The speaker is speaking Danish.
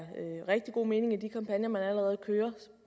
rigtig god mening i de kampagner man allerede kører